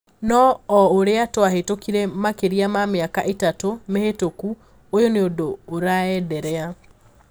Noo oo uria twahitũkire makiria ma miaka itatu mihitũku, uyu niundũ uraenderea.